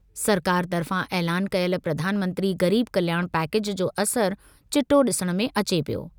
सरकार तर्फ़ां ऐलान कयल प्रधानमंत्री गरीब कल्याण पैकेज जो असरु चिटो डि॒सण में अचे पियो।